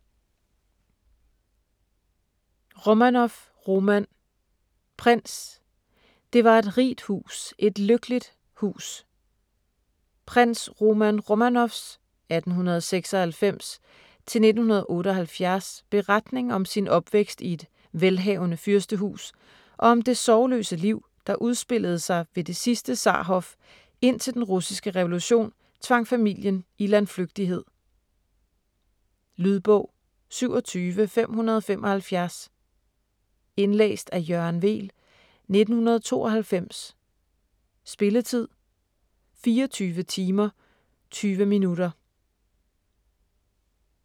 Romanoff, Roman prins: Det var et rigt hus, et lykkeligt hus Prins Roman Romanoffs (1896-1978) beretning om sin opvækst i et velhavende fyrstehus og om det sorgløse liv, der udspillede sig ved det sidste zarhof indtil den russiske revolution tvang familien i landflygtighed. Lydbog 27575 Indlæst af Jørgen Weel, 1992. Spilletid: 24 timer, 20 minutter.